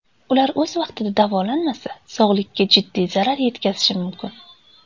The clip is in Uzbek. Ular o‘z vaqtida davolanmasa sog‘likka jiddiy zarar yetkazishi mumkin.